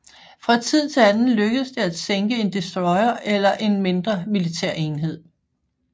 Fra tid til anden lykkedes det at sænke en destroyer eller en mindre militærenhed